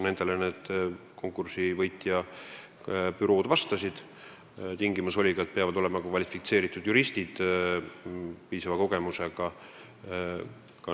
Tingimus oli, et tööl peavad olema kvalifitseeritud juristid, piisava kogemusega.